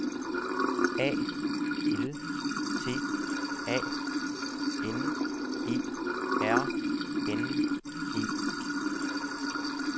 A L T A N E R N E